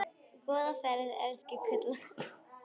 Góða ferð, elsku Kolla.